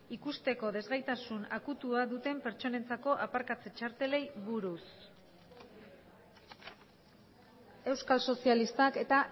ikusteko desgaitasun akutua duten pertsonentzako aparkatze txartelei buruz euskal sozialistak eta